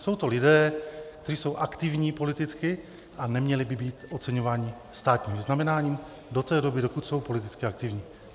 Jsou to lidé, kteří jsou aktivní politicky a neměli by být oceňováni státním vyznamenáním do té doby, dokud jsou politicky aktivní.